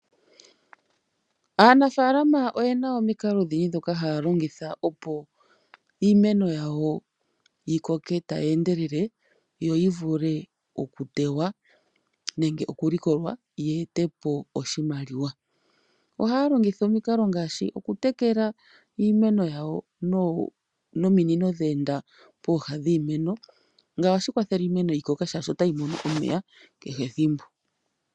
Aanafaalama oye na omikalo odhindji ndhoka haya longitha opo iimeno yawo yi koke tayi endelele yo yi vule okutewa nenge okulikolwa yi ete po oshimaliwa. Ohaya longitha omikalo ngaashi okutekela iimeno yawo nominino dheenda pooha dhiimeno, ngawo ohashi kwathele iimeno yawo yi koke molwaashi otayi mono omeya kehe ethimbo.